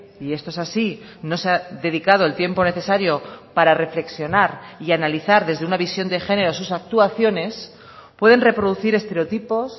y esto es así no se ha dedicado el tiempo necesario para reflexionar y analizar desde una visión de género sus actuaciones pueden reproducir estereotipos